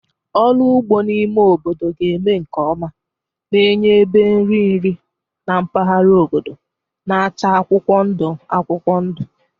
Ọrụ ugbo n'ime obodo ga-eme nke ọma, na-enye ebe nri nri na mpaghara obodo na-acha akwụkwọ ndụ akwụkwọ ndụ.